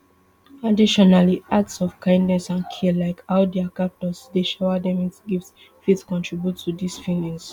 additionally acts of kindness and care like how dia captors dey shower dem wit gifts fit contribute to dis feelings